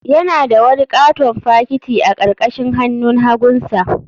Yana da wani katon fakiti a karkashin hannun hagunsa.